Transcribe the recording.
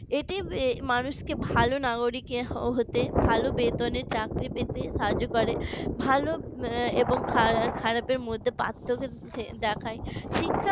এটি মানুষকে ভালো নাগরিক হতে ভালো বেতনের চাকরি পেতে সাহায্য করে ভালো এবং খারাপের মধ্যে পার্থক্য দেখায় শিক্ষা